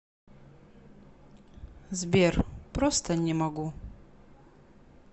сбер просто не могу